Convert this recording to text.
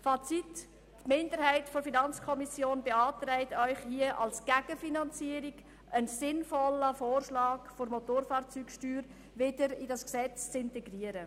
Fazit: Die Minderheit der FiKo beantragt Ihnen hier als Gegenfinanzierung einen sinnvollen Vorschlag, die Motofahrzeugsteuer wieder in dieses Gesetz zu integrieren.